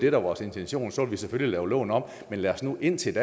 er vores intention så vil vi selvfølgelig lave loven om men lad os nu indtil